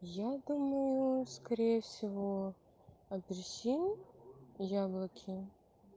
я думаю скорее всего апельсин и яблоки